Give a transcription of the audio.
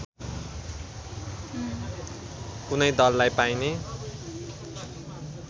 कुनै दललाई पाइने